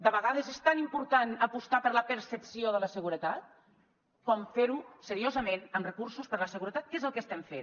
de vegades és tan important apostar per la percepció de la seguretat com fer ho seriosament amb recursos per la seguretat que és el que estem fent